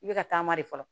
I bɛ ka taama de fɔlɔ